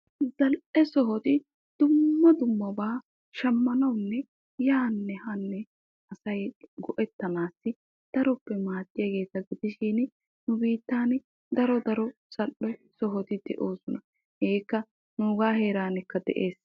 Zal'ee sohotti dumma dummaba shamanawunne bayzzanawu maadiyaagetta gidishin nuuga heerankka daro zal'ee sohotti de'osonna.